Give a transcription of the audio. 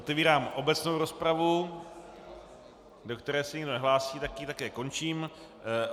Otvírám obecnou rozpravu, do které se nikdo nehlásí, tak ji také končím.